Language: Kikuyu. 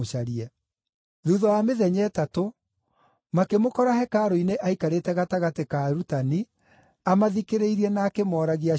Thuutha wa mĩthenya ĩtatũ makĩmũkora hekarũ-inĩ aikarĩte gatagatĩ ka arutani, amathikĩrĩirie na akĩmooragia ciũria.